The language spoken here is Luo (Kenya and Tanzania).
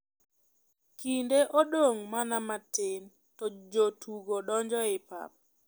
Kinde odong' mana matin to jotugo donjo e pap.